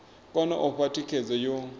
kone u fha thikhedzo yo